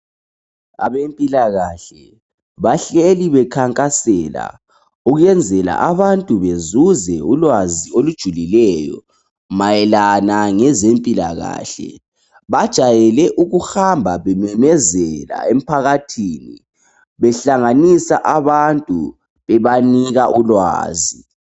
Abempilakahle bahleli bekhankasela ukwenzela abantu bezuze ulwazi olujulileyo mayelana ngezempilakahle bajayele ukuhamba bememezela emphakathini behlanganisa abantu bebanika ulwazi